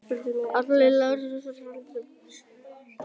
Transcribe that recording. Öll lághitasvæði eru af þessu tagi.